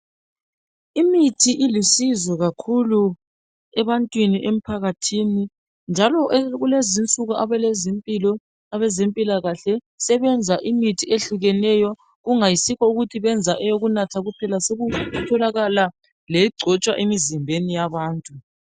imithi ilusizo kakukhulu ebantwini emphakathini njalo kulezinsuku abezempilakahle sebenza imithi ehlukeneyo kungayisikho ukuthi bayenza eyokunatha kuphela sekutholakala legcotshwa emzimbeni yabantu